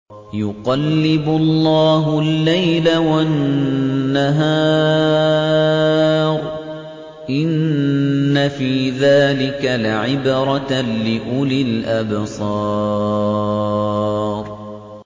يُقَلِّبُ اللَّهُ اللَّيْلَ وَالنَّهَارَ ۚ إِنَّ فِي ذَٰلِكَ لَعِبْرَةً لِّأُولِي الْأَبْصَارِ